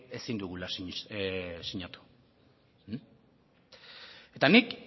ezin dugula sinatu eta nik